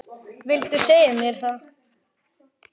Viltu segja mér það?